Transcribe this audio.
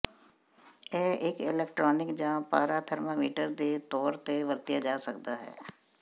ਇਹ ਇਕ ਇਲੈਕਟ੍ਰਾਨਿਕ ਜ ਪਾਰਾ ਥਰਮਾਮੀਟਰ ਦੇ ਤੌਰ ਤੇ ਵਰਤਿਆ ਜਾ ਸਕਦਾ ਹੈ